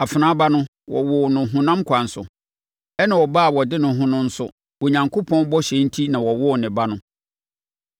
Afenaa ba no, wɔwoo no honam kwan so, ɛnna ɔbaa a ɔde ne ho no nso, Onyankopɔn bɔhyɛ enti na ɔwoo ne ba no.